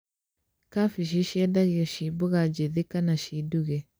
Kambĩji ciendagio ciĩ mboga njĩthĩ kana ciĩ nduge